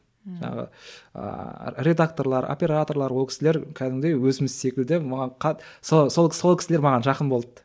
ммм жаңағы ыыы редакторлар операторлар ол кісілер кәдімгідей өзіміз секілді маған сол сол кісілер маған жақын болды